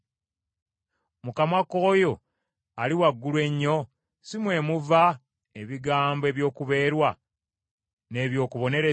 Mu kamwa k’oyo Ali Waggulu Ennyo, si mmwe muva ebigambo eby’okubeerwa n’eby’okubonereza?